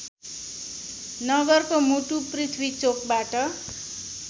नगरको मुटु पृथ्वीचोकबाट